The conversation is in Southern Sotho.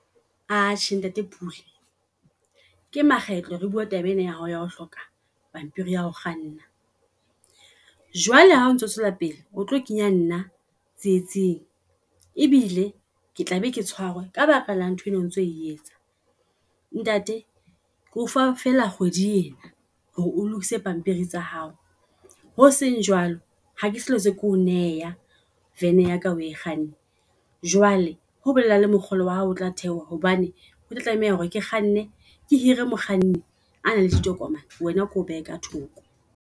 Atjhe ntate Pule ke makgetlo re bua taba ena ya hao ya ho hloka pampiri ya hao kganna. Jwale ha o ntso tswela pele o tlo kenya nna tsietsing ebile ke tla be ke tshware ka baka la ntho eno o ntso etsa. Ntate ke ofa fela kgwedi ena hore o lokise pampiri tsa hao. Ho seng jwalo, ha ke sa hlotse keo neha vene yaka oe kganne. Jwale ho bolela le mokgolo wa hao o tla theoha hobane o tlameha hore ke kganne ke hire mokganni a nang le ditokomane eena keo behe ka thoko.